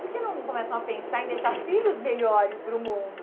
Por que não começam a pensar em deixar filhos melhores para o mundo?